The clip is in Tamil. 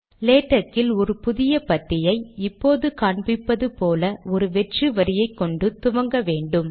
லேடக்கில் ஒரு புதிய பத்தியை இப்போது காண்பிப்பது போல் ஒரு வெற்று வரியை கொண்டு துவங்க வேண்டும்